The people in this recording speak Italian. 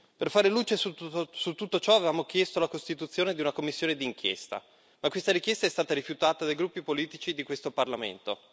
Per fare luce su tutto ciò avevamo chiesto la costituzione di una commissione d'inchiesta, ma questa richiesta è stata rifiutata dai gruppi politici di questo Parlamento.